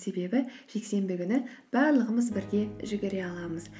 себебі жексенбі күні барлығымыз бірге жүгіре аламыз